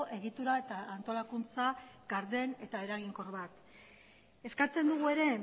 egitura eta antolakuntza garden eta eraginkor bat eskatzen dugu ere